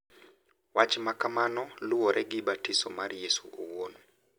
Wach ma kamano luwore gi batiso mar Yesu owuon,